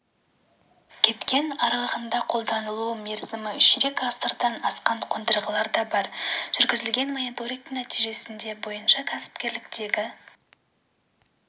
кеткен араларында қолданылу мерзімі ширек ғасырдан асқан қондырғылар да бар жүргізілген мониторингтің нәтижесі бойынша кәсіпкерліктегі